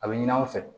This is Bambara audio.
A bɛ ɲini aw fɛ